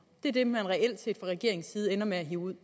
det er det man reelt set fra regeringens side ender med at hive ud